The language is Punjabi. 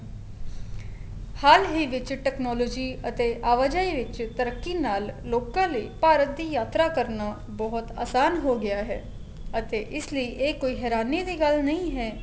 ਹਾਲ ਹੀ ਵਿੱਚ technology ਅਤੇ ਆਵਾਜਾਈ ਵਿੱਚ ਤਰਕੀ ਨਾਲ ਲੋਕਾ ਲਈ ਭਾਰਤ ਦੀ ਯਾਤਰਾ ਕਰਨਾ ਬਹੁਤ ਆਸਾਨ ਹੋ ਗਿਆ ਹੈ ਅਤੇ ਇਸ ਲਈ ਇਹ ਕੋਈ ਹੇਰਾਨੀ ਦੀ ਗੱਲ ਨਹੀਂ ਹੈ